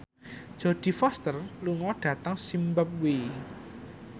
Jodie Foster lunga dhateng zimbabwe